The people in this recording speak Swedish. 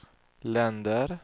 länder